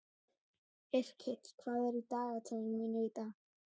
Yrkill, hvað er í dagatalinu mínu í dag?